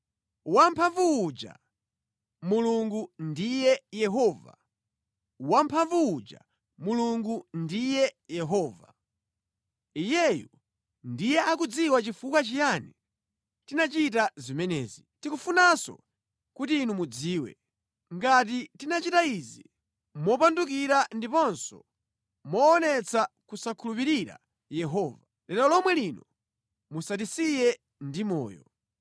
“Wamphamvu uja, Mulungu ndiye Yehova! Wamphamvu uja Mulungu ndiye Yehova. Iyeyu ndiye akudziwa chifukwa chiyani tinachita zimenezi. Tikufunanso kuti inu mudziwe. Ngati tinachita izi mopandukira ndiponso moonetsa kusakhulupirira Yehova, lero lomwe lino musatisiye ndi moyo.